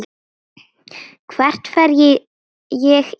Hvert fer ég í dag?